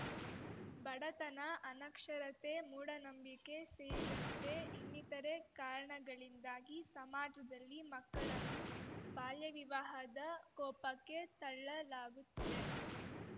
ಬಡತನ ಅನಕ್ಷರತೆ ಮೂಢನಂಬಿಕೆ ಸೇರಿದಂತೆ ಇನ್ನಿತರೆ ಕಾರಣಗಳಿಂದಾಗಿ ಸಮಾಜದಲ್ಲಿ ಮಕ್ಕಳನ್ನು ಬಾಲ್ಯವಿವಾಹದ ಕೋಪಕ್ಕೆ ತಳ್ಳಲಾಗುತ್ತಿದೆ